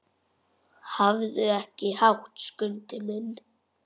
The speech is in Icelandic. Hafðu ekki hátt, Skundi minn.